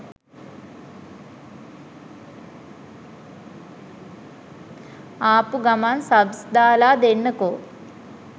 ආපු ගමන් සබ්ස් දාලා දෙන්නකෝ